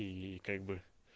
и как бы